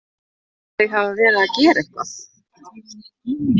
Þau hafa verið að gera eitthvað!